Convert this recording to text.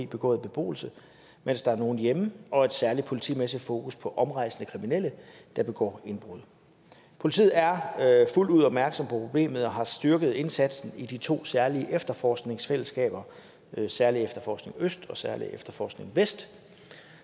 begået i beboelse mens der er nogen hjemme og et særligt politimæssigt fokus på omrejsende kriminelle der begår indbrud politiet er fuldt ud opmærksom på problemet og har styrket indsatsen i de to særlige efterforskningsfællesskaber særlig efterforskning øst og særlig efterforskning vest